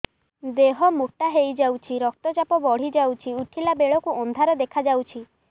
ଦେହ ମୋଟା ହେଇଯାଉଛି ରକ୍ତ ଚାପ ବଢ଼ି ଯାଉଛି ଉଠିଲା ବେଳକୁ ଅନ୍ଧାର ଦେଖା ଯାଉଛି